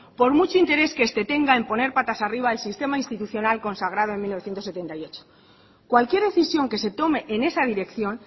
por mucho interés que este tenga en poner patas arriba el sistema institucional consagrado en mil novecientos setenta y ocho cualquier decisión que se tome en esa dirección